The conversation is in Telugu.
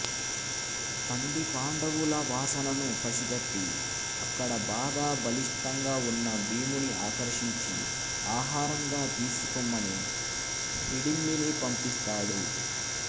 తండి పాండవుల వాసనను పసిగట్టి అక్కడ బాగా బలిష్టంగా ఉన్న భీముని ఆకర్షించి ఆహారంగా తీసుకుమ్మని హిడింబిని పంపిస్తాడు